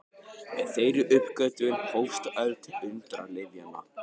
Með þeirri uppgötvun hófst öld undralyfjanna.